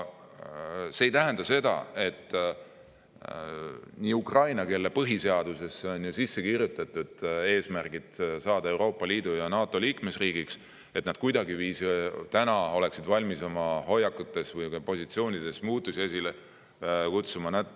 See ei tähenda seda, et ukrainlased, kelle põhiseadusesse on sisse kirjutatud eesmärk saada Euroopa Liidu ja NATO liikmesriigiks, oleksid kuidagiviisi valmis oma hoiakutes või positsioonides muutusi esile kutsuma.